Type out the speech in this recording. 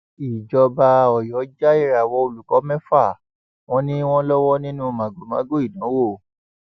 ìjọba ọyọ já ìràwọ olùkọ mẹfà wọn ni wọn lọwọ nínú màgòmágó ìdánwò